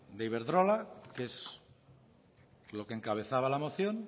de iberdrola que es lo que encabezaba la moción